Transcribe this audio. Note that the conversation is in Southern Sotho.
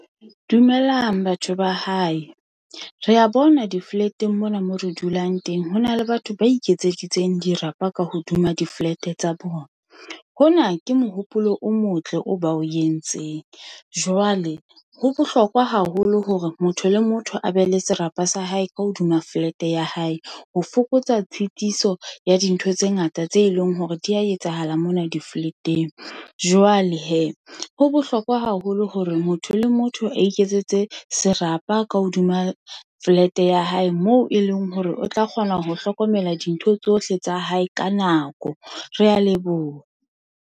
Dumelang batho ba hae. Re a bona di flat-eng mona mo re dulang teng ho na le batho ba iketseditseng dirapa ka hodima di-flat-e tsa bona. Hona ke mohopolo o motle o ba o entseng. Jwale ho bohlokwa haholo hore motho le motho a be le serapa sa hae ka hodima flat-e ya hae ho fokotsa tshitiso ya dintho tse ngata tse leng hore di a etsahala mona di-flat-eng. Jwale hee, ho bohlokwa haholo hore motho le motho a iketsetse serapa ka hodima flat-e ya hae moo e leng hore o tla kgona ho hlokomela dintho tsohle tsa hae ka nako. Re a leboha.